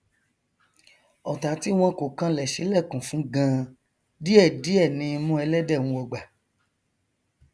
ọtá tí wọn kò kanlẹ ṣílẹkùn fún ganan díẹ díẹ ni imú ẹlẹdẹ nwọgbà